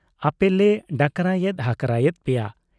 ᱟᱹᱯᱮᱞᱮ ᱰᱟᱠᱨᱟᱭᱮᱫ ᱦᱟᱠᱨᱟ ᱮᱫ ᱯᱮᱭᱟ ᱾